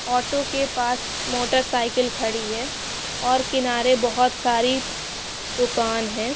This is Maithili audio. ऑटो के पास मोटर साइकिल खड़ी है और किनारे बहुत सारी दुकान है।